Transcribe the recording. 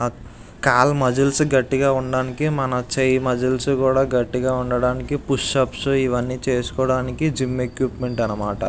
కాలి muscles గట్టిగ ఉండటానికి మన చెయ్యి మసిల్స్ కూడా గట్టిగ ఉండటానికి పుష్ అప్స్ ఇవన్ని చేసుకోడానికి జిమ్ ఎక్విప్మెంట్ అన్నమాట.